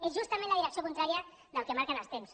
és justament la direcció contrària del que marquen els temps